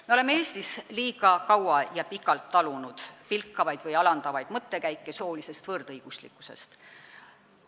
Me oleme Eestis liiga kaua talunud pilkavaid või alandavaid mõttekäike soolisest võrdõiguslikkusest.